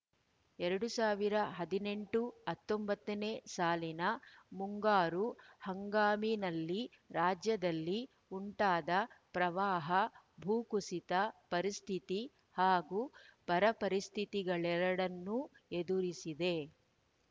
ಎರಡ್ ಸಾವಿರದ ಹದಿನೆಂಟು ಹತ್ತೊಂಬತ್ತನೇ ಸಾಲಿನ ಮುಂಗಾರು ಹಂಗಾಮಿನಲ್ಲಿ ರಾಜ್ಯದಲ್ಲಿ ಉಂಟಾದ ಪ್ರವಾಹ ಭೂ ಕುಸಿತ ಪರಿಸ್ಥಿತಿ ಹಾಗೂ ಬರಪರಿಸ್ಥಿತಿಗಳೆರಡನ್ನೂ ಎದುರಿಸಿದೆ